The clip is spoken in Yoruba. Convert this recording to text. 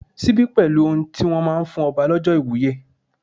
Síbí pẹ̀lú ohun tí wón máa ń fún ọba lọ́jọ́ ìwúye.